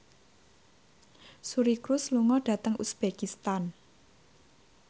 Suri Cruise lunga dhateng uzbekistan